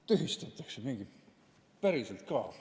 Tühistatakse mingi seadus, päriselt ka.